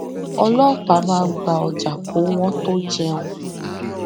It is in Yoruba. ọlọpàá máa ń gba ọjà kó wọn tó jẹun